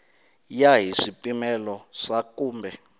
ya hi swipimelo swa kumbe